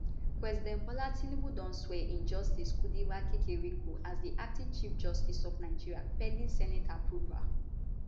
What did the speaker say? president bola tinubu don swear in justice kudirat kekereekun as di acting chief justice of nigeria pending senate approval